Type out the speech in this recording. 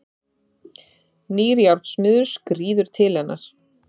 Nýr járnsmiður skríður til hennar.